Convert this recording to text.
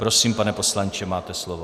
Prosím, pane poslanče, máte slovo.